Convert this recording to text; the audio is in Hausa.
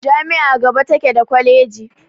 Jami'a gaba take daa kwaleji.